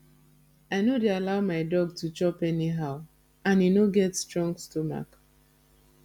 i no dey allow my dog to chop anyhow and e no get strong stomach